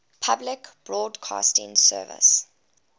public broadcasting service